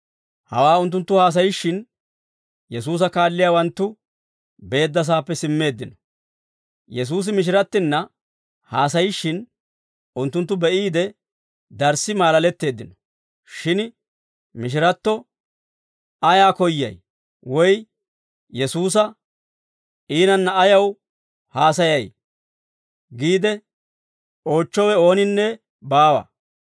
Hawaa unttunttu haasayishshin, Yesuusa kaalliyaawanttu beeddasaappe simmeeddino. Yesuusi mishirattinna haasayishshin unttunttu be'iide darssi maalaletteeddino; shin mishiratto, «Ayaa koyyay?» woy Yesuusa, «Iinanna ayaw haasayay?» giide oochchowe ooninne baawa.